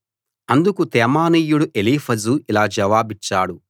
అందుకు తేమానీయుడు ఎలీఫజు ఇలా జవాబిచ్చాడు